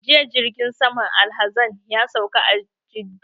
Jiya jirgin saman alhazan ya sauka a Jidda